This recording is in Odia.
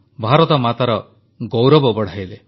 ଭାରତମାତାର ଗୌରବ ବଢ଼ାଇଲେ